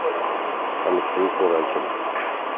алексей куракин